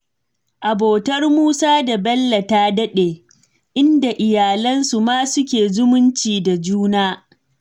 Abotar Musa da Bello ta daɗe, inda iyalansu ma suke zumunci da juna.